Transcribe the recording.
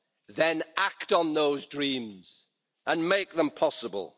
Then act on those dreams and make them possible.